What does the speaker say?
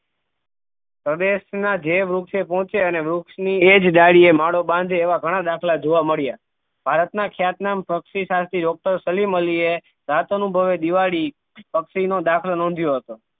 પ્રદેશ ના જે વૃક્ષ એ પહોંચે અને વૃક્ષ ની એ જ ડાળી એ માળો બાંધે એવા ઘણા દાખલા જોવા મળ્યાં ભારત ના ખ્યાત નામ પક્ષી સારથિ doctor સલીમ અલી એ જાત અનુભવે દિવાળી પક્ષી નો દાખલો નોંધ્યો હતો